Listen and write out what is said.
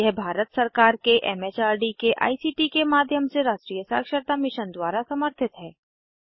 यह भारत सरकार के एम एच आर डी के आई सी टी के माध्यम से राष्ट्रीय साक्षरता मिशन द्वारा समर्थित है